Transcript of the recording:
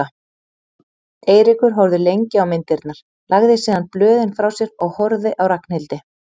Eiríkur horfði lengi á myndirnar, lagði síðan blöðin frá sér og horfði á Ragnhildi.